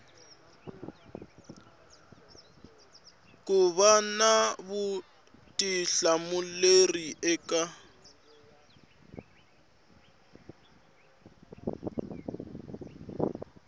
ku va na vutihlamuleri eka